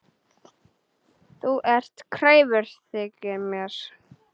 Þú ert kræfur, þykir mér.